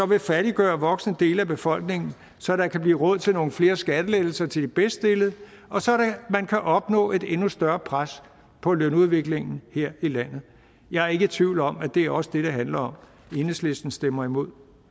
vil fattigegøre voksende dele af befolkningen så der kan blive råd til nogle flere skattelettelser til de bedststillede og så man kan opnå et endnu større pres på lønudviklingen her i landet jeg er ikke i tvivl om at det også er det det handler om enhedslisten stemmer imod